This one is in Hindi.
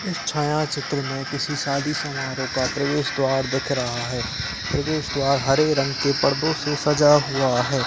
इस छायाचित्र में किसी शादी समारोह का प्रवेश द्वार दिख रहा है। प्रवेश द्वार हरे रंग के परदों से सजा हुआ है।